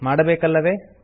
ಮಾಡಬೇಕಲ್ಲವೇ